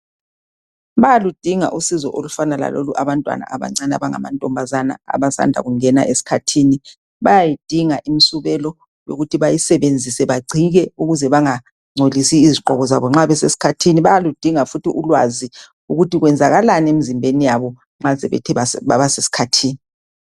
Bayaludinga usizo olufana lalolu, abantwana abancane abangamantombazana. Abasanda kungena esikhathini. Bayayidinga imisubelo, yokuthi bayisebenzise. Bagcike! Ukuze bangangcolisi izigqoko zabo, nxa besesikhathini. Bayaludinga futhi ulwazi lukuthi kwenzakalani emizimbeni yabo, nxa sebethe baba sesikhathini.